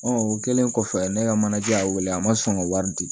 o kɛlen kɔfɛ ne ka manaj' y'a wele a ma sɔn ka wari di